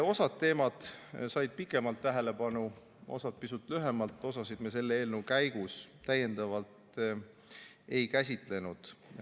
Osad teemad said pikemalt tähelepanu, osad pisut lühemalt, osasid me selle eelnõu käigus täiendavalt ei käsitlenud.